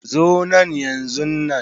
Zo nan yanzunan.